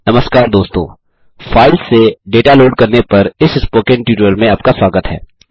नमस्कार दोस्तों फाइल्स से डेटा लोड करने पर इस स्पोकन ट्यूटोरियल में आपका स्वागत है